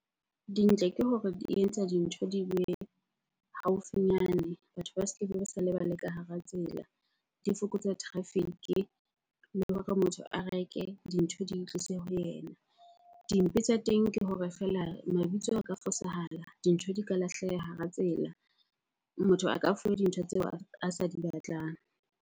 Dintle ke hore di etsa dintho di be haufinyane. Batho ba ba sala ba le ka hara tsela. Di fokotsa traffic-i le hore motho a reke, dintho di itlise ho yena. Dimpe tsa teng ke hore feela mabitso a ka fosahala, dintho di ka lahleha hara tsela, motho a ka fuwa dintho tseo a sa di batlang.